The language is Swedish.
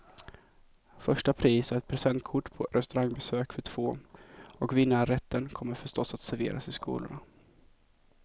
Första pris är ett presentkort på restaurangbesök för två, och vinnarrätten kommer förstås att serveras i skolorna.